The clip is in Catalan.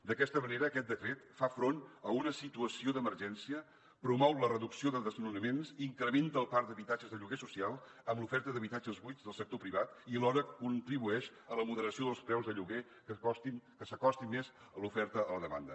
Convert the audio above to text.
d’aquesta manera aquest decret fa front a una situació d’emergència promou la reducció de desnonaments incrementa el parc d’habitatges de lloguer social amb l’oferta d’habitatges buits del sector privat i alhora contribueix a la moderació dels preus de lloguer que s’acosti més l’oferta a la demanda